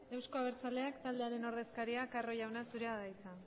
euzko abertzaleak taldearen ordezkaria carro jauna zurea da hitza